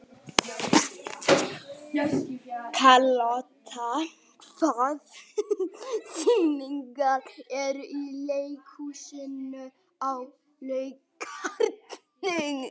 Karlotta, hvaða sýningar eru í leikhúsinu á laugardaginn?